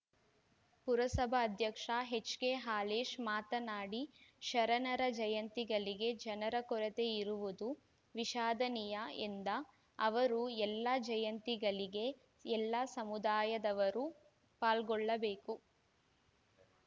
ಪುರಸಭಾ ಅಧ್ಯಕ್ಷ H K Halesha ಮಾತನಾಡಿ ಶರಣರ ಜಯಂತಿಗಳಿಗೆ ಜನರ ಕೊರತೆ ಇರುವುದು ವಿಷಾದನೀಯ ಎಂದ ಅವರು ಎಲ್ಲಾ ಜಯಂತಿಗಳಿಗೆ ಎಲ್ಲಾ ಸಮುದಾಯದವರು ಪಾಲ್ಗೊಳ್ಳಬೇಕು